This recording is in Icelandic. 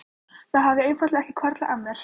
Það hafði einfaldlega ekki hvarflað að mér.